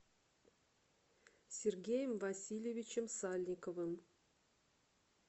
сергеем васильевичем сальниковым